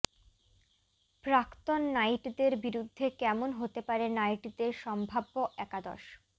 প্রাক্তন নাইটদের বিরুদ্ধে কেমন হতে পারে নাইটদের সম্ভাব্য একাদশ